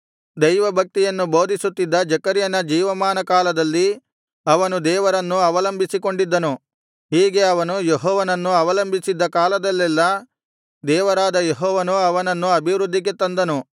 ದೈವಭಕ್ತಿಯನ್ನು ಬೋಧಿಸುತ್ತಿದ್ದ ಜೆಕರ್ಯನ ಜೀವಮಾನಕಾಲದಲ್ಲಿ ಅವನು ದೇವರನ್ನು ಅವಲಂಬಿಸಿಕೊಂಡಿದ್ದನು ಹೀಗೆ ಅವನು ಯೆಹೋವನನ್ನು ಅವಲಂಬಿಸಿದ್ದ ಕಾಲದಲ್ಲೆಲ್ಲಾ ದೇವರಾದ ಯೆಹೋವನು ಅವನನ್ನು ಅಭಿವೃದ್ಧಿಗೆ ತಂದನು